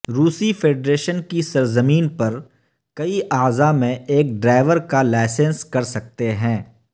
روسی فیڈریشن کی سرزمین پر کئی اعضاء میں ایک ڈرائیور کا لائسنس کر سکتے ہیں